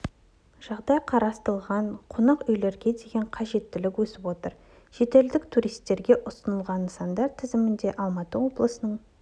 жағдай қарастырылған қонақ үйлерге деген қажеттілік өсіп отыр шетелдік туристерге ұсынылған нысандар тізімінде алматы облысының